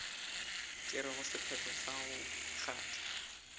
tšerego sephetho sa go kgatha